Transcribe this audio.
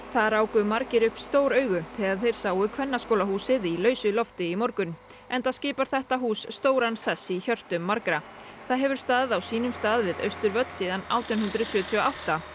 það ráku margir upp stór augu þegar þeir sáu Kvennaskólahúsið í lausu lofti í morgun enda skipar þetta hús stóran sess í hjörtum margra það hefur staðið á sínum stað við Austurvöll síðan átján hundruð sjötíu og átta